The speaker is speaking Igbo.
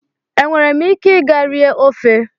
Enwere m ike ịga rie ofe?